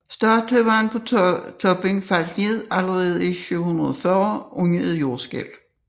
Statuen på toppen faldt ned allerede i 740 under et jordskælv